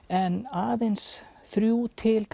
en aðeins þrír til